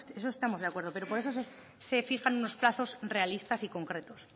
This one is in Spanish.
en eso estamos de acuerdo pero por eso se fijan unos plazos realistas y concretos